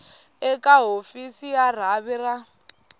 eka hofisi ya rhavi ra